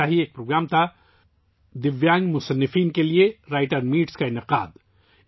ایسا ہی ایک پروگرام تھا دِویانگ ادیبوں کے لیے 'رائٹرز میٹ' کا انعقاد